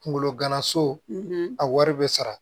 Kunkolo gana so a wari bɛ sara